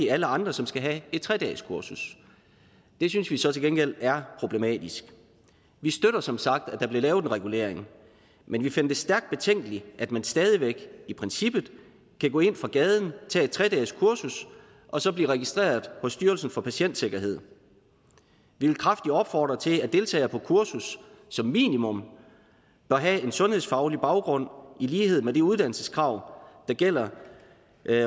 alle andre som skal have et tre dageskursus det synes vi så til gengæld er problematisk vi støtter som sagt at der bliver lavet en regulering men vi finder det stærkt betænkeligt at man stadig væk i princippet kan gå ind fra gaden tage et tre dages kursus og så blive registreret hos styrelsen for patientsikkerhed vi vil kraftigt opfordre til at deltagere på kurset som minimum bør have en sundhedsfaglig baggrund i lighed med de uddannelseskrav der gælder